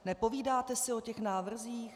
Nepovídáte si o těch návrzích?